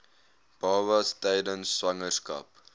babas tydens swangerskap